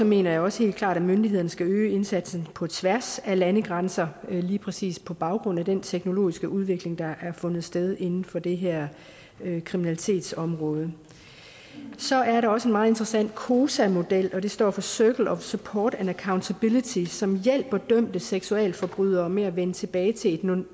mener jeg også helt klart at myndighederne skal øge indsatsen på tværs af landegrænser lige præcis på baggrund af den teknologiske udvikling der har fundet sted inden for det her kriminalitetsområde så er der også en meget interessant cosa model og det står for circles of support and accountability som hjælper dømte seksualforbrydere med at vende tilbage til et